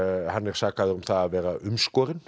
hann er sakaður um að vera umskorinn